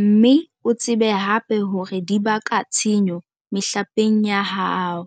mme o tsebe hape hore di baka tshenyo mehlapeng ya hao.